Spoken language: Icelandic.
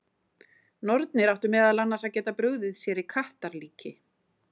Nornir áttu meðal annars að geta brugðið sér í kattarlíki.